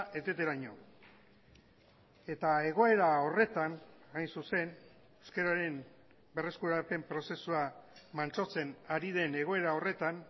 eteteraino eta egoera horretan hain zuzen euskararen berreskurapen prozesua mantsotzen ari den egoera horretan